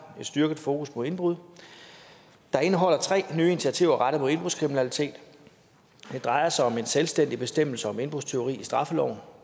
styrket fokus på indbrud der indeholder tre nye initiativer rettet mod indbrudskriminalitet det drejer sig om en selvstændig bestemmelse om indbrudstyveri i straffeloven